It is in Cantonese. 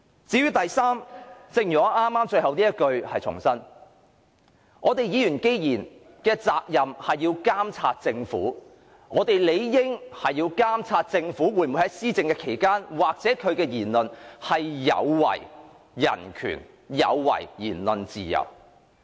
至於第三點，正如我剛才所言，既然議員的責任是要監察政府，我們理應監察政府施政期間或作出的言論有否違反人權及言論自由。